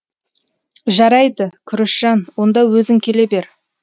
жарайды күрішжан онда өзің келе бер